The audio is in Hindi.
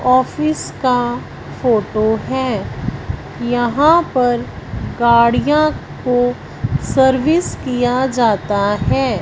ऑफिस का फोटो है यहां पर गाड़ियां को सर्विस किया जाता है।